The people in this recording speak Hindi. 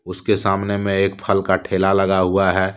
उसके सामने में एक फल का ठेला लगा हुआ है।